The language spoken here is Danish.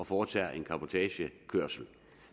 foretages en cabotagekørsel